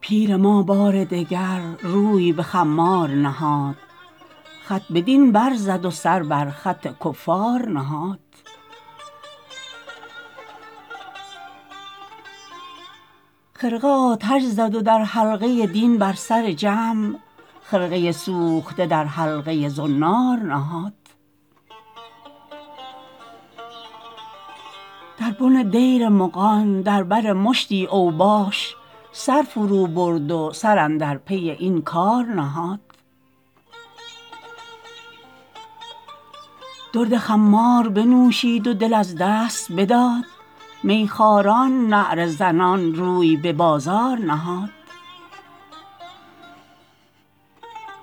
پیر ما بار دگر روی به خمار نهاد خط به دین برزد و سر بر خط کفار نهاد خرقه آتش زد و در حلقه دین بر سر جمع خرقه سوخته در حلقه زنار نهاد در بن دیر مغان در بر مشتی اوباش سر فرو برد و سر اندر پی این کار نهاد درد خمار بنوشید و دل از دست بداد می خوران نعره زنان روی به بازار نهاد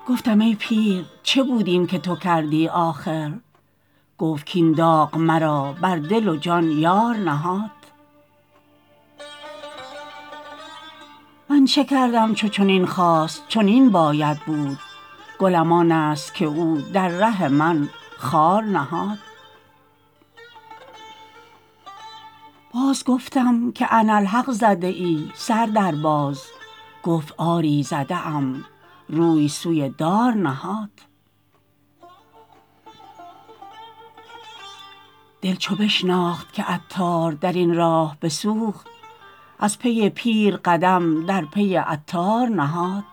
گفتم ای پیر چه بود این که تو کردی آخر گفت کین داغ مرا بر دل و جان یار نهاد من چه کردم چو چنین خواست چنین باید بود گلم آن است که او در ره من خار نهاد باز گفتم که اناالحق زده ای سر در باز گفت آری زده ام روی سوی دار نهاد دل چو بشناخت که عطار درین راه بسوخت از پی پیر قدم در پی عطار نهاد